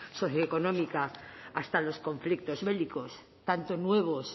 socioeconómica hasta los conflictos bélicos tanto nuevos